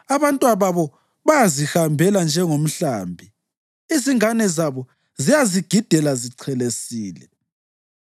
Abantwababo bayazihambela njengomhlambi; izingane zabo ziyazigidela zichelesile.